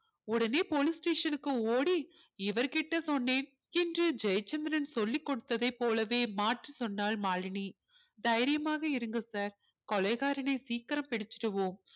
உடனே police station க்கு ஓடி இவர் கிட்ட சொன்னேன் என்று ஜெயச்சந்திரன் சொல்லிக் கொடுத்ததைப் போலவே மாற்றி சொன்னாள் மாலினி தைரியமாக இருங்க sir கொலைகாரனை சீக்கிரம் பிடிச்சிடுவோம்